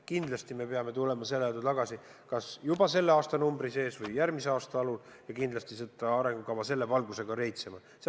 Kindlasti me peame tulema selle juurde tagasi kas juba selle aastanumbri sees või järgmise aasta algul ja kindlasti seda arengukava selles valguses rehitsema.